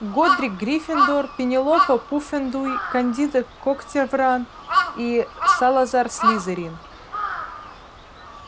годрик гриффиндор пенелопа пуффендуй кандида когтевран и салазар слизерин